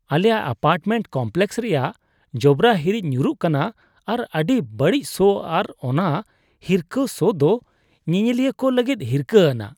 ᱟᱞᱮᱭᱟᱜ apartment complex ᱨᱮᱭᱟᱜ ᱡᱚᱵᱽᱨᱟ ᱦᱤᱨᱤᱡ ᱧᱩᱨᱩᱜ ᱠᱟᱱᱟ ᱟᱨ ᱟᱹᱰᱤ ᱵᱟᱹᱲᱤᱡ ᱥᱚ ᱟᱨ ᱚᱱᱟ ᱦᱤᱨᱠᱟᱹ ᱥᱚ ᱫᱚ ᱧᱮᱧᱮᱞᱤᱭᱟᱹ ᱠᱚ ᱞᱟᱹᱜᱤᱫ ᱦᱤᱨᱠᱟᱹ ᱟᱱᱟᱜ ᱾